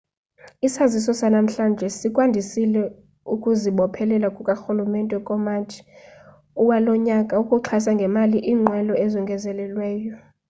isaziso sanamhlanje sikwandisile ukuzibophelela kukarhulumente ngomatshi walo nyaka ukuxhasa ngemali iinqwelo ezongezelelweyo